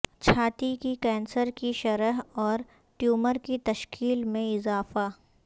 چھاتی کی کینسر کی شرح اور ٹیومر کی تشکیل میں اضافہ